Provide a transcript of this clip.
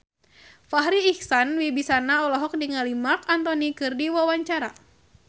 Farri Icksan Wibisana olohok ningali Marc Anthony keur diwawancara